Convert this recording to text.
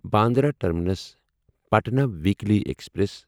Bandra terminus Patna weekly express